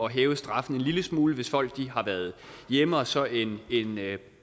hæve straffen en lille smule hvis folk har været hjemme og så en